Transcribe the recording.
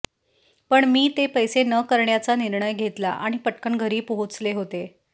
पण मी ते पैसे न करण्याचा निर्णय घेतला आणि पटकन घरी पोहोचले होते